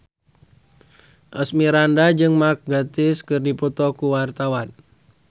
Asmirandah jeung Mark Gatiss keur dipoto ku wartawan